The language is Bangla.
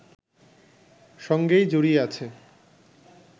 সঙ্গেই জড়িয়ে আছে